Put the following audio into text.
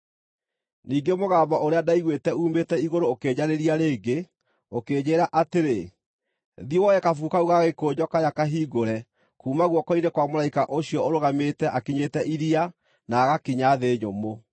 Ningĩ mũgambo ũrĩa ndaiguĩte uumĩte igũrũ ũkĩnjarĩria rĩngĩ, ũkĩnjĩĩra atĩrĩ: “Thiĩ, woe kabuku kau ga gĩkũnjo karĩa kahingũre kuuma guoko-inĩ kwa mũraika ũcio ũrũgamĩte akinyĩte iria, na agakinya thĩ nyũmũ.”